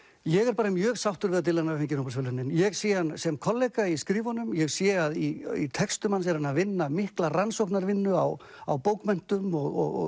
ég er mjög sáttur við að Dylan hafi fengið Nóbelsverðlaunin ég sé hann sem kollega í skrifunum ég sé að í textum hans er hann að vinna mikla rannsóknarvinnu á á bókmenntum og